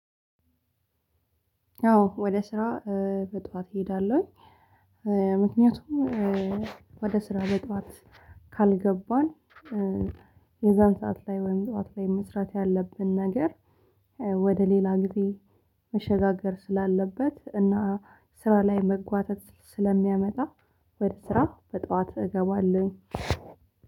አዎ ወደ ስራ በጠዋት እሄዳለሁኝ። ምክንያቱም ወደ ስራ በጠዋት ካልገባን የዛን ሰዓት ላይ ወይም ጠዋት ላይ መስራት ያለብንን ነገር ወደ ሌላ ጊዜ መሸጋገር ስላለበት እና ስራ ላይ መጓተት ስለሚያመጣ ወደ ስራ በጠዋት እገባለሁኝ።